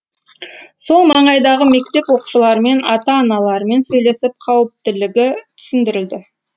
сол маңайдағы мектеп оқушыларымен ата аналарымен сөйлесіп қауіптілігі түсіндірілді